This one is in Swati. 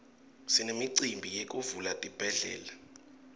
sinemicimbi yekuvula tibhedlela